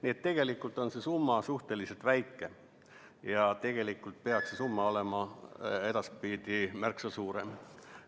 Nii et tegelikult on see summa suhteliselt väike ja peaks olema edaspidi märksa suurem.